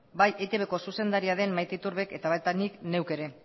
bai eitbk zuzendaria den maite iturbek eta baita nik neuk ere